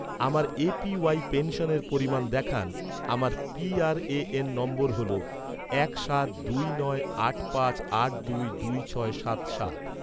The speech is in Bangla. আমার এ.পি.ওয়াই পেনশনের পরিমাণ দেখান, আমার পি.আর.এ.এন নম্বর হল এক সাত দুই নয় আট পাঁচ আট দুই দুই ছয় সাত সাত